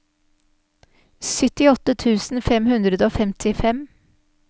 syttiåtte tusen fem hundre og femtifem